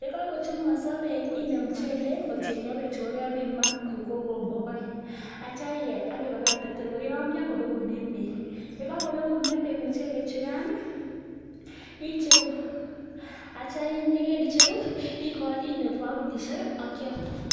Ye kagochumukoso beek inde muchelek kotienge beechu kogebiman koik kigombok oeng. Ak kityo iger ak ibakte tor koyomyo tor kobekunen beek. Ye kagobegunen beek muchelek chugan icheru ak kityo ye kaicheru inde kibakulishek ak kyam.